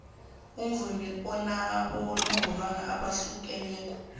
imvumo anabonongorwana abahlukeneko